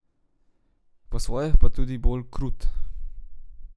Po svoje pa tudi bolj krut.